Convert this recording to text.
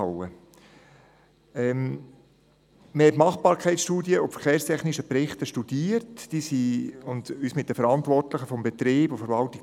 Wir studierten die Machbarkeitsstudie sowie den verkehrstechnischen Bericht und trafen uns mit den Verantwortlichen des Betriebs und der Verwaltung.